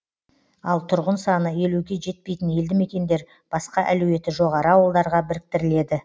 ал тұрғын саны елуге жетпейтін елді мекендер басқа әлеуеті жоғары ауылдарға біріктіріледі